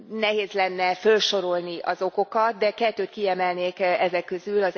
Nehéz lenne fölsorolni az okokat, de kettőt kiemelnék ezek közül.